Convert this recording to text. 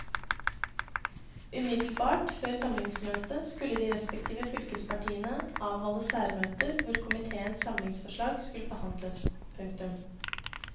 Umiddelbart før samlingsmøtet skulle de respektive fylkespartiene avholde særmøter hvor komiteens samlingsforslag skulle behandles. punktum